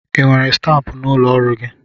I nwere stampụ n'ụlọ ọrụ gị?